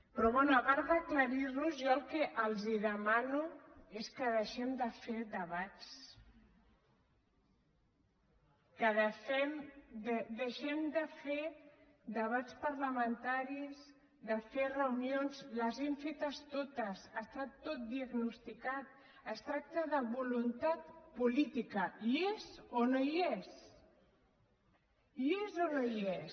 però bé a part d’aclarir nos jo el que els demano és que deixem de fer debats que deixem de fer debats parlamentaris de fer reunions les hem fetes totes està tot diagnosticat es tracta de voluntat política hi és o no hi és hi és o no hi és